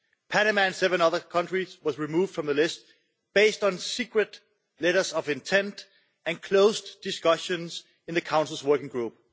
Panama and seven other countries were removed from the list, based on secret letters of intent and closed discussions in the Council's Working Group.